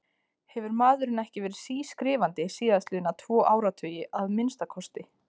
Hefur maðurinn ekki verið sískrifandi síðastliðna tvo áratugi, að minnsta kosti?